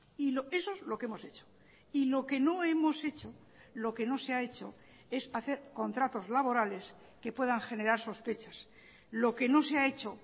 y eso es lo que hemos hecho y lo que no hemos hecho lo que no se ha hecho es hacer contratos laborales que puedan generar sospechas lo que no se ha hecho